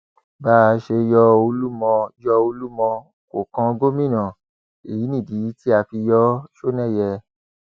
bá a ṣe yọ olúmọ yọ olúmọ kó kàn gómìnà èyí nìdí tá a fi yọ ọ sọnẹyẹ